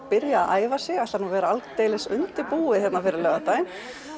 byrjað að æfa sig ætlar nú að vera aldeilis undirbúið fyrir laugardaginn